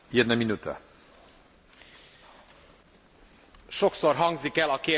Sokszor hangzik el a kérdés, a Kissingeré, hogy ki veszi fel a telefont?